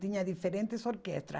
Tinha diferentes orquestras.